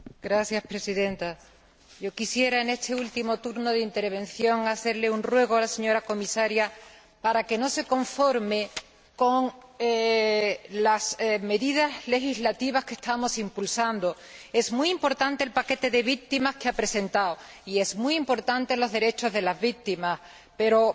Señora Presidenta, yo quisiera en este último turno de intervención hacerle un ruego a la señora Comisaria para que no se conforme con las medidas legislativas que estamos impulsando. Es muy importante el paquete legislativo relativo a las víctimas que ha presentado, y son muy importantes los derechos de las víctimas, pero